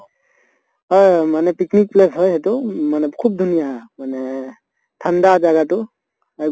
হয় হয় মানে picnic place হয় এইটো মানে খুব ধুনীয়া মানে ঠান্দা জাগাটো